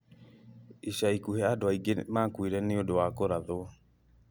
ica ikuhĩ andũ aingĩ makuire nĩũndũ wa kũrathwo